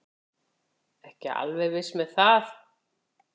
Ekki alveg viss með það.